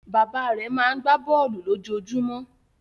Bàbá rẹ̀ máa ń gbá bọ́ọ́lù lójoojúmọ́.